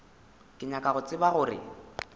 ke nyaka go tseba gore